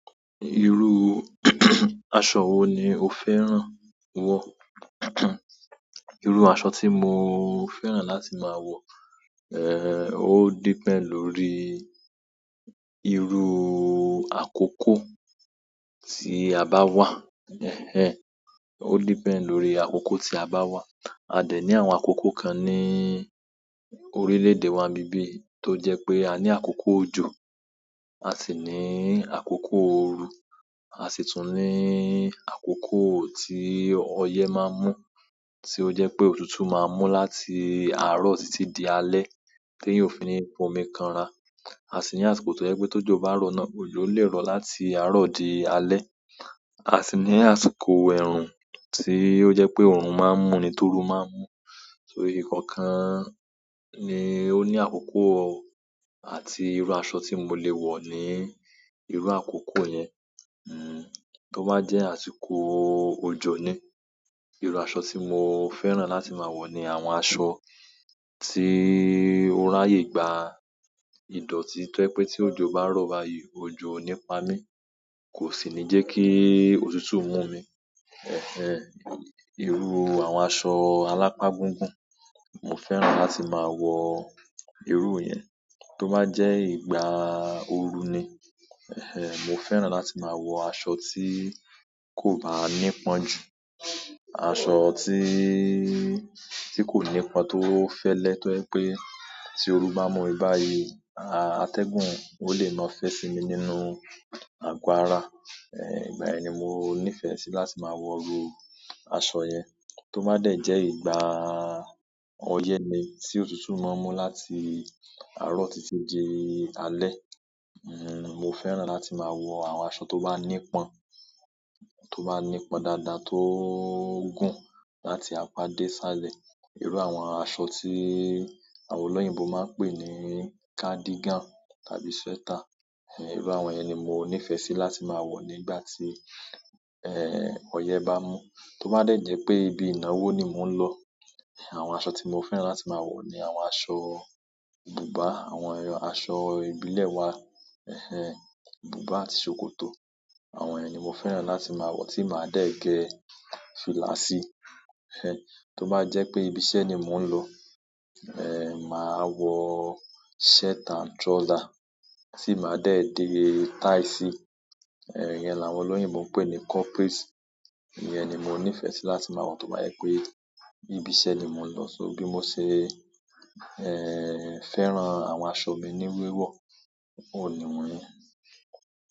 Irú aṣọ wo ni o fẹ́ràn wọ̀? Irú aṣọ tí mo fẹ́ràn láti máa wọ̀ ó depend lórí irú àkókò tí a bá wà. Ẹhẹn, ó depend lórí àkókò tí a bá wà. A dẹ̀ ní àwọn àkókò kan ní orílẹ̀-èdè wa ń bibíyì. Tó jẹ́ pé a ní àkókò òjò, a sì ní àkókò ooru, a sì tún ní àkókò tí ọyẹ́ máa ń mú, tí ó jẹ́ pé òtútù máa ń mú láti àárọ̀ títí di alẹ́, tí èèyàn fi ní fo omi kanra. A sì ní àsìkò tó jẹ́ pé tójo bá rọ̀ náà, òjò le rọ̀ láti àárọ̀ di alẹ́. A sì ní àsìkò ẹ̀rùn tí ó jẹ́ pé òòrùn máa ń mú ni tí ooru máa ń mú. So ìkọ̀ọ̀kan ni ó ní àkókò, àti irú aṣọ tí mo lè wọ̀ ni irú àkókò yẹn. Hmm, tó bá jẹ́ àsìkò òjò ni, irú aṣọ tí mo fẹ́ràn láti máa wọ̀ ni àwọn aṣọ tí ó ráyè gba ìdọ̀tí tó jẹ́ pé tí òjò bá rọ̀ báyìí, òjò ò ní pa mí, kò sì ní jẹ́ kí òtútù mú mi. Ẹ̀hẹ́ǹ, irú àwọn aṣọ alápá-gúngùn, mo fẹ́ràn láti máa wọ irú ìyẹn. Tó bá jẹ́ ìgbà ooru ni, ẹ̀hẹ́ǹ, mo fẹ́ràn láti máa wọ aṣọ tí kò bá ní pọ́n jù, aṣọ tí, tí kò ní pọ́n tó fẹ́lẹ́ tó jẹ́ pé tí ooru bá mú mi báyìí, a-atẹ́gùn ò lè máa fẹ́ fi mí nínú àgo ara. Eh, ìgbà yẹn ni mo nífẹ̀ẹ́ sí láti máa wọ irú aṣọ yẹn. Tó bá dẹ̀ jẹ́ ìgbà ọyẹ́ ni, tí òtútù máa ń mú láti àárọ̀ títí di alẹ́, hmm, mo fẹ́ràn láti máa wọ àwọn aṣọ tó bá ní pọ́n, tó bá ní pọ́n dáadáa tó gùn láti apá dé sálẹ̀. Irú àwọn aṣọ tí àwọn olóyìnbo máa ń pè ní cardigan tàbí sweater. Ẹhẹn, irú àwọn yẹn ni mo nífẹ̀ẹ́ sí láti máa wọ̀ nígbà tí, eh, ọyẹ́ bá ń mú. Tó bá dẹ̀ jẹ́ pé ibi ìnáwó ni mò ń lọ, àwọn aṣọ tí mo fẹ́ràn láti máa wọ̀ ni àwọn aṣọ bùbá, àwọn aṣọ ìbílẹ̀ wa. Ẹhẹn, bùbá àti ṣòkòtò. Àwọn yẹn ni mo fẹ́ràn láti máa wọ̀ tí màá dẹ̀ gẹ́ fìlà sí. Ẹhẹn, tó bá jẹ́ pé ibi iṣẹ́ ni mò ń lọ, eh, màá wọọ shirt and trouser, tí máa dẹ̀ dín táì sí. Ẹhẹn, ìyẹn làwọn olóyìnbo ń pè ní corporate. Ìyẹn ni mo nífẹ̀ẹ́ sí láti máa wọ̀ tó bá yẹ pé ibi iṣẹ́ ni mò ń lọ. So bí mo ṣe, eh, fẹ́ràn àwọn aṣọ mi ní wíwọ̀, òun nìwọ̀n yẹn.